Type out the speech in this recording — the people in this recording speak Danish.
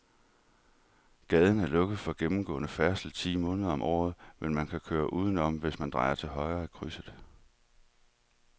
Gaden er lukket for gennemgående færdsel ti måneder om året, men man kan køre udenom, hvis man drejer til højre i krydset.